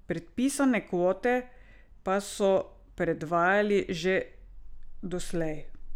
Predpisane kvote pa so predvajali že doslej.